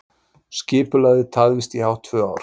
Skipulagið tafðist hátt í tvö ár